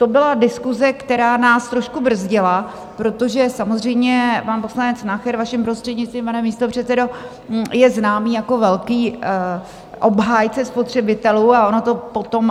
To byla diskuse, která nás trošku brzdila, protože samozřejmě pan poslanec Nacher, vaším prostřednictvím, pane místopředsedo, je známý jako velký obhájce spotřebitelů a ono to potom...